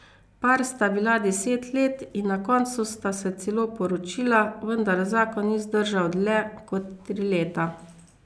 Par sta bila deset let in na koncu sta se celo poročila, vendar zakon ni zdržal dlje kot tri leta.